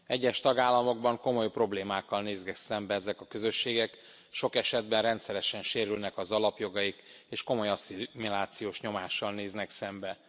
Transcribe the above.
Egyes tagállamokban komoly problémákkal néznek szembe ezek a közösségek, sok esetben rendszeresen sérülnek az alapjogaik, és komoly asszimilációs nyomással néznek szembe.